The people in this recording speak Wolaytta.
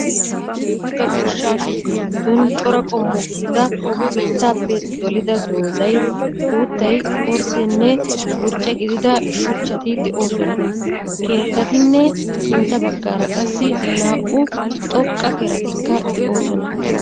Aakki uttida goshshaa shooqqa giddon cora qommo gidida bittappe dolida dozayi, uttaayi, orddenne burcce giidida shuchchaati de'osoona. Keettatinne sintta bagaara qaasi naa'u xooqqakeeratikka de'osoona.